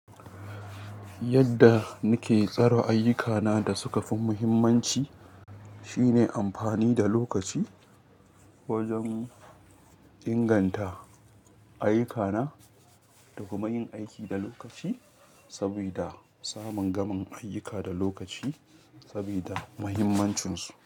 Yadda nike tsara ayyukana da suka fi muhimmanci shine amfani da lokaci wajen, inganta ayyukana da kuma yin aiki da lokaci sabida samun gaman ayyuka da lokaci sabida mahimmancinsu.